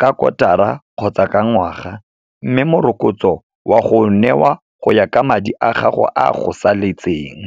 ka kotara kgotsa ka ngwaga, mme morokotso wa go newa go ya ka madi a gago, a go saletseng.